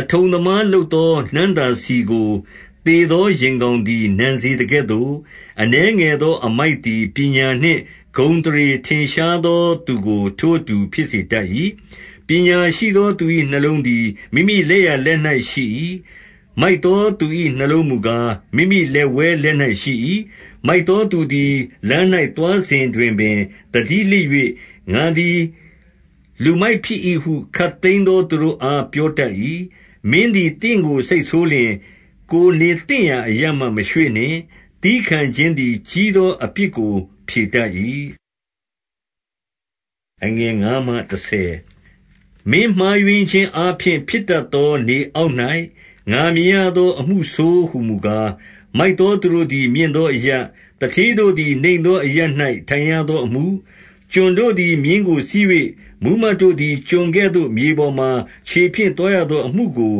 အထုံသမားလုပ်သော နံ့သာဆီကို သေသော ယင်ကောင်သည် နံစေသကဲ့သို့၊ အနည်းငယ်သောအမိုက် သည် ပညာနှင့်ဂုဏ်အသရေထင်ရှားသောသူကို ထိုအတူ ဖြစ်စေတတ်၏။ ပညာရှိသောသူ၏ နှလုံးသည် မိမိလက်ျာလက် ၌ ရှိ၏။ မိုက်သောသူ၏နှလုံးမူကား၊ မိမိလက်ဝဲလက်၌ ရှိ၏။ မိုက်သောသူသည် လမ်း၌သွားစဉ်တွင်ပင် သတိ လစ်၍၊ ငါသည် လူမိုက်ဖြစ်၏ဟု ခပ်သိမ်းသောသူတို့အား ပြောတတ်၏။ မင်းသည် သင့်ကိုစိတ်ဆိုးလျှင်၊ ကိုယ်နေသင့် အရပ်မှ မရွေ့နှင့်။ သည်းခံခြင်းသည် ကြီးသောအပြစ်ကို ဖြေတတ်၏။ မင်းမှားယွင်းခြင်းအားဖြင့် ဖြစ်တတ်သော၊ နေအောက်၌ ငါမြင်ရသောအမှုဆိုးဟူမူကား၊ မိုက်သောသူတို့သည် မြင့်သောအရပ်၊ သူဌေးတို့ သည် နိမ့်သောအရပ်၌ ထိုင်ရသောအမှု၊ ကျွန်တို့သည် မြင်းကိုစီး၍ မှူးမတ်တို့သည် ကျွန် ကဲ့သို့ မြေပေါ်မှာ ခြေဖြင့်သွားရသောအမှုကို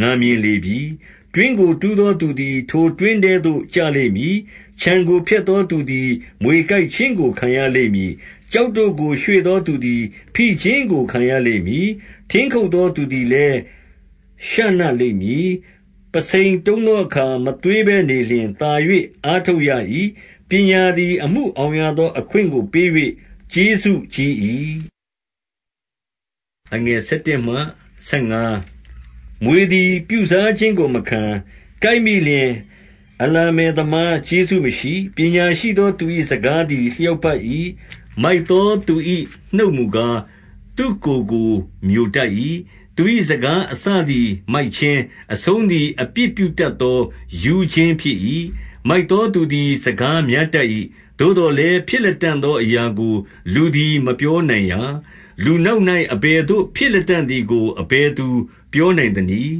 ငါမြင် လေပြီ။ တွင်းကို တူးသောသူသည် ထိုတွင်းထဲသို့ ကျလိမ့် မည်။ ခြံကိုဖျက်သော သူသည် မြွေကိုက်ခြင်းကို ခံရလိမ့် မည်။ ကျောက်တို့ကို ရွှေ့သောသူသည် ဖိခြင်းကို ခံရလိမ့်မည်။ ထင်းခုတ်သောသူသည်လည်း ရှနလိမ့်မည်။ ပုဆိန်တုံးသောအခါ မသွေးဘဲနေလျှင်သာ၍ အားထုတ်ရမည်။ ပညာသည် အမှုဆောင်ရသောအခွင့် ကို ပေး၍ ကျေးဇူးကြီး၏။ မြွေသည် ပြုစားခြင်းကိုမခံ။ ကိုက်မိလျှင် အလမ္ပယ်သမား ကျေးဇူးမရှိ။ ပညာရှိသောသူ၏စကားသည် လျောက်ပတ်၏။ မိုက်သောသူ၏ နှုတ်မူကား သူ့ကိုယ်ကိုမျိုတတ်၏။ သူ၏စကားအစသည် မိုက်ခြင်း၊ အဆုံးသည် အပြစ်ပြုတတ်သော ရူးခြင်းဖြစ်၏။ မိုက်သောသူသည် စကားများတတ်၏။ သို့သော် လည်း ဖြစ်လတံ့သောအရာကို လူသည်မပြောနိုင်ရာ။ လူနောက်၌ အဘယ်သို့ ဖြစ်လတံ့သည်ကို အဘယ်သူ ပြောနိုင်သနည်း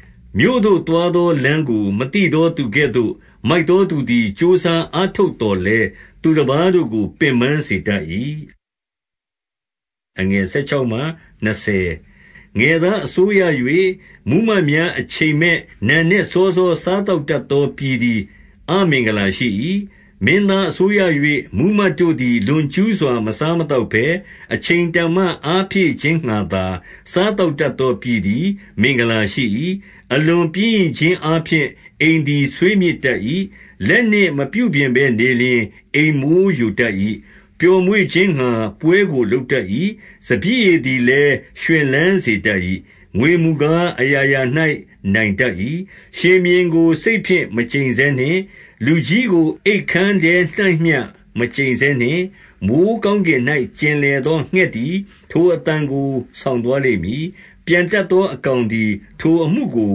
။ မြို့သို့သွာသောလမ်းကို မသိသောသူကဲ့သို့ မိုက်သော သူသည် ကြိုးစားအားထုတ်သော်လည်း၊ သူတပါးတို့ကို ပင်ပန်းစေတတ်၏။ ငယ်သားအစိုးရ၍ မှူးမတ်များအချိန်မဲနံနက် စောစော စားသောက်တတ်သောပြည်သည် အမင်္ဂလာ ရှိ၏။ မင်းသားအစိုးရ၍၊ မှူးမတ်တို့သည် လွန်ကျူးစွာ မစားမသောက်ဘဲ၊ အချိန်တန်မှအားဖြည့်ခြင်းငှါသာ၊ စားသောက်တတ်သော ပြည်သည် မင်္ဂလာရှိ၏။ အလွန်ပျင်းရိခြင်းအားဖြင့် အိမ်သည် ဆွေးမြေ့ တတ်၏။ လက်နှင့်မပြုပြင်ဘဲနေလျှင် အိမ်မိုးယိုတတ်၏။ ပျော်မွေ့ခြင်းငှါ ပွဲကိုလုပ်တတ်၏။ စပျစ်ရည် သည်လည်း ရွှင်လန်းစေတတ်၏။ ငွေမူကား၊ အရာရာ၌ နိုင်တတ်၏။ ရှင်ဘုရင်ကို စိတ်ဖြင့်မျှ မကျိတ်ဆဲနှင့်။ လူကြီး ကို အိပ်ခန်းထဲ၌ မကျိန်ဆဲနှင့်။ မိုဃ်းကောင်းကင်၌ ကျင်လည်သော ငှက်သည် ထိုအသံကို ဆောင်သွား လိမ့်မည်။ ပျံတတ်သော အကောင်သည် ထိုအမှုကို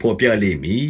ဘော်ပြလမ့်မည်